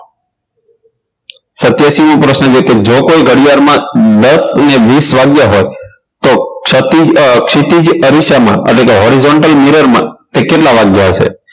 સત્યાશી મો પ્રશ્ન છે કે જો કોઈ ઘડિયાળમાં દસ અને વીસ વાગ્યા હોય તો ક્ષતીજ આ ક્ષિતિજ અરીસામાં એટલે કે horizontal mirror માં કે કેટલા વાગ્યા હશે